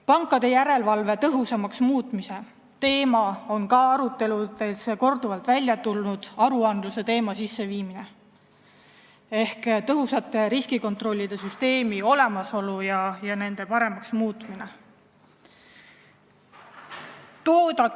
Pankade järelevalve tõhusamaks muutmise teema on ka aruteludes korduvalt välja tulnud, aruandluse sisseviimine ehk tõhusate riskikontrollide süsteemi olemasolu ja paremaks muutmine.